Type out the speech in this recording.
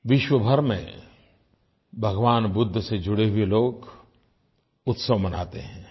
विश्वभर में भगवान बुद्ध से जुड़े हुए लोग उत्सव मनाते हैं